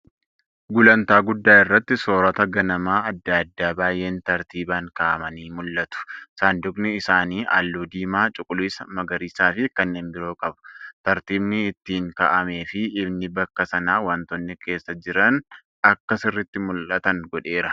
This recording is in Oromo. Gulantaa guddaa irratti soorata ganamaa adda addaa baay’een tartiiban kaa’aman mul’atu. Saanduqi isaanii halluu diimaa, cuquliisa, magariisa fi kanneen biroo qabu. Tartiibni ittiin kaa'amee fi ifni bakka sanaa wantoonni keessa jiran akka sirriitti mul'atan godheera.